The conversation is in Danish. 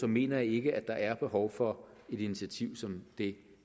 mener jeg ikke at der er behov for et initiativ som det